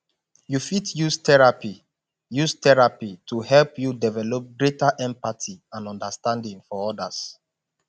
you fit use therapy use therapy to help you develop greater empathy and understanding for others